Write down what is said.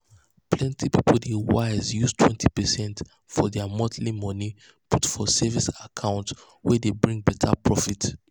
plenty people dey wise use 20 percent from their monthly money put for savings account wey dey bring better profit.